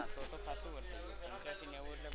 તો તો ખાસા વર્ષ થયા પંચયાસી નેવું વર્ષ તો.